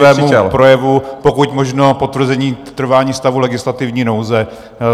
Věnujte se svému projevu, pokud možno potvrzení trvání stavu legislativní nouze.